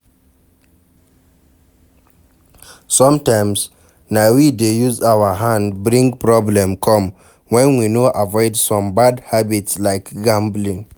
Sometimes na we dey use our hand bring problem come when we no avoid some bad habits like gambling